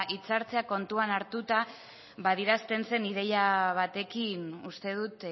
hitzartzeak kontutan hartuta adierazten zen ideia batekin uste dut